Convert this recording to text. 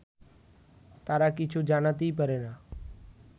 তারা কিছু জানাতেই পারে না